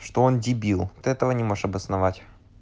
что он дебил ты этого не можешь обосновать